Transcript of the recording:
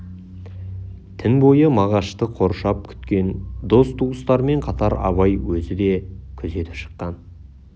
түн бойы мағашты қоршап күткен дос туыстармен қатар абай өзі де күзетіп шыққан